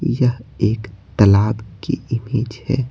यह एक तालाब की इमेज है।